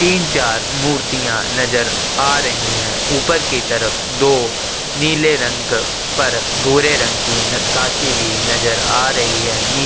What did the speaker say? तीन चार मुर्तिया नज़र आ रही है ऊपर की तरफ दो नीले रंग पर भूरे रंग की नाथ्कासी भी नज़र आ रही है निचे --